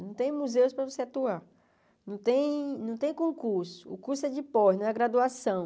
Não tem museus para você atuar, não tem não tem concurso, o curso é de pós, não é graduação.